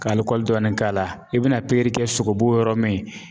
Ka dɔɔnin k'a la i bɛna pikiri kɛ sogobu yɔrɔ min